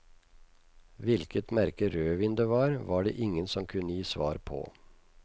Hvilket merke rødvin det var, var det ingen som kunne gi svar på.